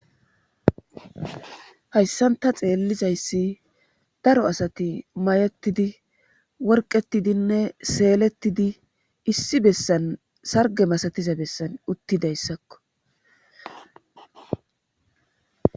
hayssanta xeellizayssi daro asati may7ettidi worqetidinne seelettidi issi bessan sarge masatiza bessan uttidayssakko